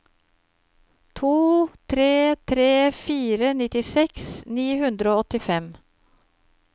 to tre tre fire nittiseks ni hundre og åttifem